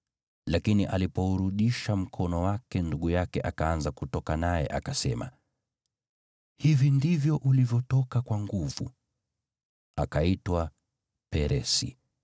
Lakini alipourudisha mkono wake ndugu yake akaanza kutoka, naye akasema, “Hivi ndivyo ulivyotoka kwa nguvu!” Akaitwa Peresi.